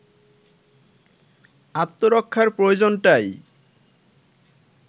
আত্মরক্ষার প্রয়োজনটাই